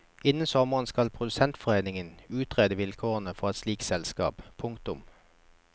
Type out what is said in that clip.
Innen sommeren skal produsentforeningen utrede vilkårene for et slikt selskap. punktum